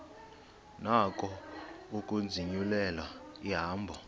nako ukuzinyulela ihambo